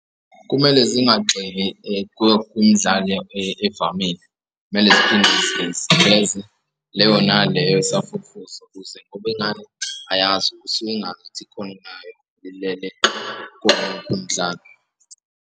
Kumele zingagxili kumdali evamile, kumele ziveze leyo naleyo osafufusa ukuze ngoba ingane ayazi usuke ikhono layo lilele umdlalo.